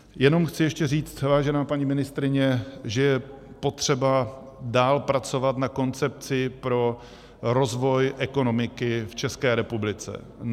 Jenom chci ještě říct, vážená paní ministryně, že je potřeba dál pracovat na koncepci pro rozvoj ekonomiky v České republice.